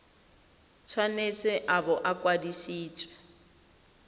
tshwanetse a bo a kwadisitswe